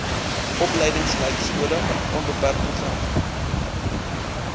opleidingslypskole onbeperk program